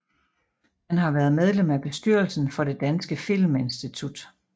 Han har været medlem af bestyrelsen for Det danske Filminstitut